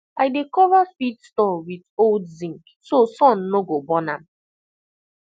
i dey cover feed store with old zinc so sun no go burn am